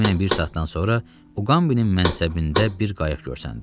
Təxminən bir saatdan sonra Uqambinin mənsəbində bir qayıq görsəndi.